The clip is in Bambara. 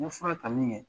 N ye fura ta min kɛ